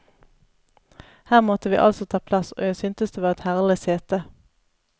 Her måtte vi altså ta plass, og jeg syntes det var et herlig sete.